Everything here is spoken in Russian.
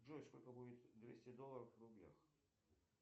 джой сколько будет двести долларов в рублях